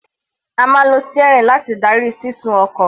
A máa ń lo steering láti darí sísún ọkọ̀.